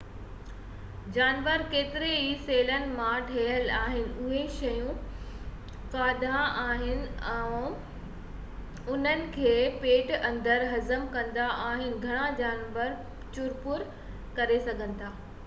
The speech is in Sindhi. جانور ڪيترن ئي سيلن مان ٺهيل آهن اهي شيون کائيندا آهن ۽ انهن کي پيٽ اندر هضم ڪندا آهن گهڻا جانور چُرپُر ڪري سگھن ٿا